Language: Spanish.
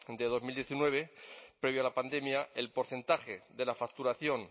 de dos mil diecinueve previo a la pandemia el porcentaje de la facturación